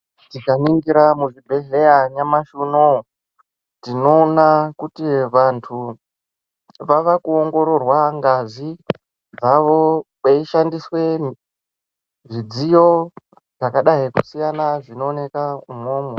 Tikaningira muzvibhehlera nyamashi unoo, tinoona kuti vantu vaakuongororwa ngazi dzavo kweishandiswe zvidziyo zvakadai kusiyana zvinoonekwa umwomwo.